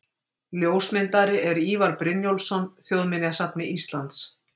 Ljósmyndari er Ívar Brynjólfsson, Þjóðminjasafni Íslands.